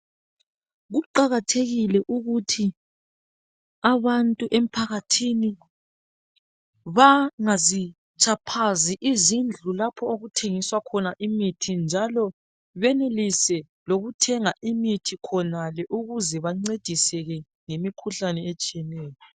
Kuqakathekile ukuthi abantu emphakathini bangazitshaphazi izindlu lapho okuthengiswa khona imithi njalo benelise ukuthenga imithi khonale ukuze. Bancediseke ngemikhuhlane etshiyeneyo.